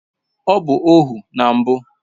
Ọ bụ ohu na mbụ